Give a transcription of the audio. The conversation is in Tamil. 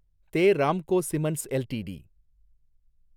they Ramco cements LTD